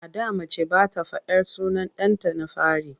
A da mace ba ta faɗar sunan ɗanta na fari.